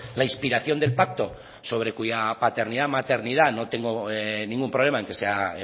la inspiración del pacto sobre cuya paternidad maternidad no tengo ningún problema en que sea